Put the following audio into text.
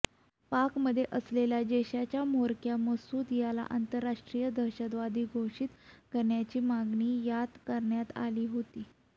पाकमध्ये असलेल्या जैशचा म्होरक्या मसूद याला आंतराराष्ट्रीय दहशतवादी घोषित करण्याची मागणी यात करण्यात आली होती